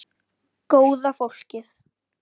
Góða fólkið.